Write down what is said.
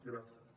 gràcies